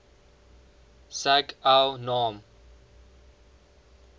sag el naam